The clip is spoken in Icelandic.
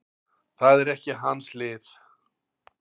Það er ekki hans lið.